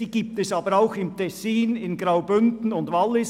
Es gibt sie aber auch im Tessin, im Graubünden und im Wallis.